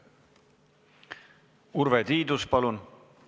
Urve Tiidus, palun!